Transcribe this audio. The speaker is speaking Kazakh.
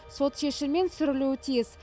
сот шешімімен сүрілуі тиіс